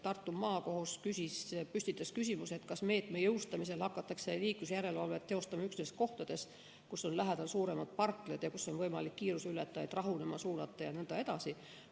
Tartu Maakohus püstitas küsimuse, kas meetme jõustamisel hakatakse liiklusjärelevalvet teostama üksnes kohtades, kus on lähedal suuremad parklad, kuhu on võimalik kiiruseületajaid rahunema suunata jne.